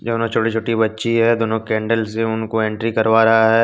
दोनों छोटी छोटी बच्ची हैं दोनों कैंडल से उनको एंट्री करवा रहा है।